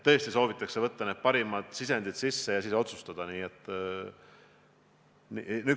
Tõesti, soovitakse võtta vastu parimad sisendid ja siis otsustada.